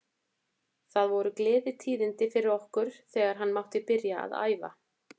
Það voru gleðitíðindi fyrir okkur þegar hann mátti byrja að æfa.